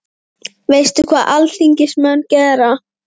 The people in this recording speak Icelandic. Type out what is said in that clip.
Veistu hvað alþingismenn gera?